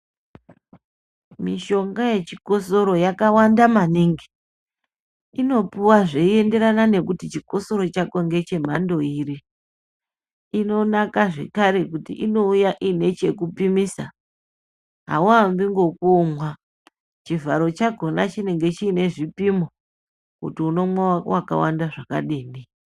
Mishonga yechikosoro yakawanda maningi. Inopuwa zveienderana nekuti chikosoro chako ngechemhando iri. Inonaka zvekare kuti inouya iine chekupimisa. Hauambi ngekomwa. Chivharo chakona chinenge chine zvipimo kuti unomwa wakawanda zvakadini.